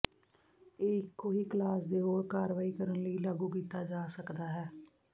ਇਹ ਇੱਕੋ ਹੀ ਕਲਾਸ ਦੇ ਹੋਰ ਕਾਰਵਾਈ ਕਰਨ ਲਈ ਲਾਗੂ ਕੀਤਾ ਜਾ ਸਕਦਾ ਹੈ